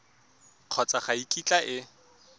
kgotsa ga e kitla e